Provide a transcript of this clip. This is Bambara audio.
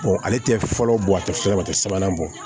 ale tɛ fɔlɔ bɔ a tɛ fili o tɛ sabanan bɔ